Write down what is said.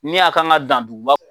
Ni a kan ka dan duguba